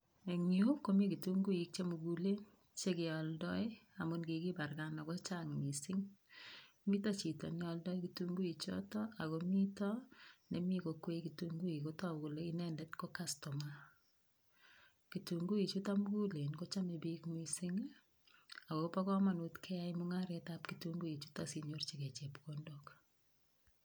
Eng yu komi kitunguik chemugulen, chekealdoi amun kikibarkan ako chang mising. Mito chito nealdoi kitunguik chotok akomito nemi kokwei kitunguik, kotoku kole inendet ko customer. Kitunguik chutok mugulen kochamei bik mising akobo komonut kenyai mung'aretab kitunguik chutok sinyirchikei chepkondok.